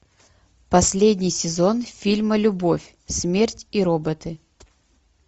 последний сезон фильма любовь смерть и роботы